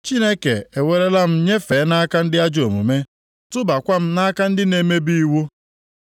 Chineke ewerela m nyefee nʼaka ndị ajọ omume, tụbakwa m nʼaka ndị na-emebi iwu.